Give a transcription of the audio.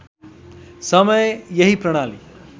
समय यही प्रणाली